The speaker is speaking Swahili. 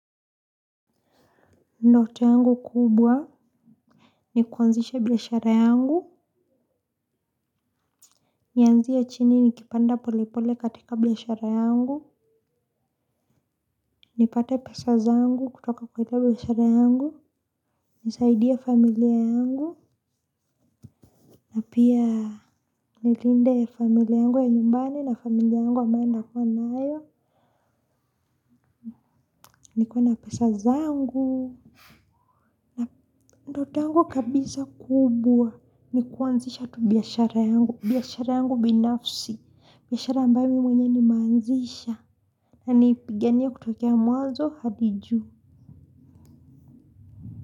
Ndoto yangu kubwa ni kuanzisha biashara yangu. Nianzie chini nikipanda pole pole katika biashara yangu. Nipate pesa zangu kutoka kwa ile biashara yangu. Nisaidia familia angu. Na pia nilinde familia yangu ya nyumbani na familia yangu ambayo nitakuwa nayo. Nikiwa na pesa zangu. Ndoto yangu kabisa kubwa ni kuanzisha tu biashara yangu. Biashara yangu binafsi. Biashara ambayo mimi mwenyewe nimeanzisha. Na niipiganie kutokea mwazo hadi juu.